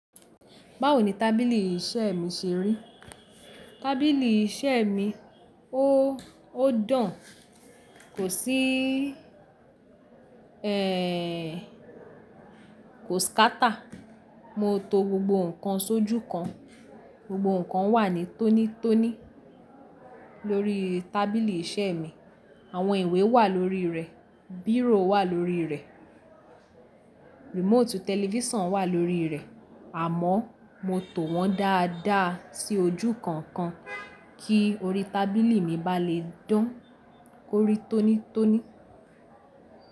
Báwo ni tábìlì iṣẹ́ mi ṣe rí? Tábìlì iṣẹ́ mi, ó, ó dan, kò sí, ẹ, kò scatter. Mo to gbogbo nǹkan sójú kan. Gbogbo nǹkan wà ní tónítóní lórí tábìlì iṣẹ́ mi. Àwọn ìwé wà lórí rẹ̀, bírò wà lórí rẹ̀, remote television wà lórí rẹ̀. Àmọ́ mo tò wọ́n dáadáa sí ojú kan kan kí orí tábìlì mi bá le dán korí tónítóní.